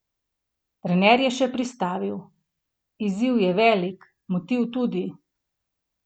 Trener je še pristavil: "Izziv je velik, motiv tudi.